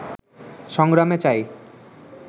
সংগ্রামে চাই